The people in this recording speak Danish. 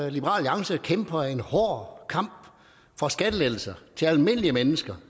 alliance kæmper en hård kamp for skattelettelser til almindelige mennesker